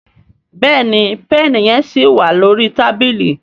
Béèni Pẹ́ẹ̀nì yen sí wá lórí tábìlì.